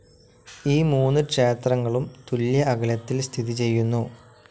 ഈ മൂന്ന് ക്ഷേത്രങ്ങളും തുല്യ അകലത്തിൽ സ്ഥിതി ചെയുന്നു.